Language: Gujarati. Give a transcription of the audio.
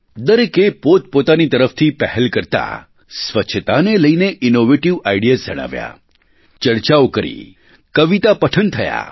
દરેકે પોતપોતાની તરફથી પહેલ કરતાં સ્વચ્છતાને લઈને ઇનોવેટિવ આઇડિયાઝ જણાવ્યા ચર્ચાઓ કરી કવિતા પઠન થયાં